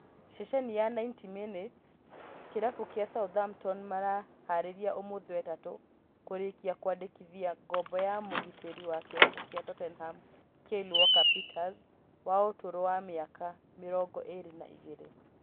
Ceceni ya 90min kĩrabu kĩa Southampton mareharĩrĩria ũmũthĩ wetatũ kũrĩkia kwandĩkithia ngombo ya mũgitĩri wa kĩrabu gĩa Tottenham Kyle Walker-Peters wa ũturũ wa mĩaka mĩrongo ĩrĩ na ĩgĩrĩ